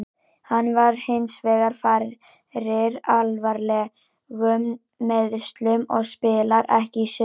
Hann varð hinsvegar fyrir alvarlegum meiðslum og spilar ekki í sumar.